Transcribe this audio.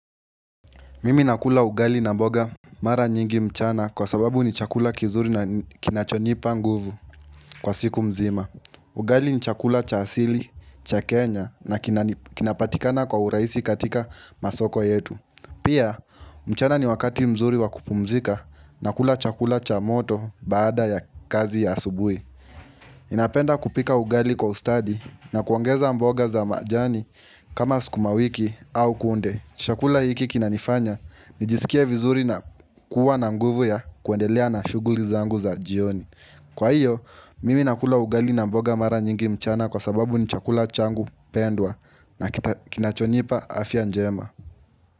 Mimi nakula ugali na mboga mara nyingi mchana kwa sababu ni chakula kizuri na kinachonipa nguvu kwa siku mzima. Ugali ni chakula cha asili, cha kenya na kinani kinapatikana kwa uraisi katika masoko yetu. Pia, mchana ni wakati mzuri wa kupumzika na kula chakula cha moto baada ya kazi ya subui. Napenda kupika ugali kwa ustadi na kuongeza mboga za majani kama skuma wiki au kunde. Chakula hiki kinanifanya, nijiskie vizuri na kuwa na nguvu ya kuendelea na shughuli zangu za jioni. Kwa hiyo, mimi nakula ugali na mboga mara nyingi mchana kwa sababu ni chakula changu pendwa na kita kinachonipa afya njema.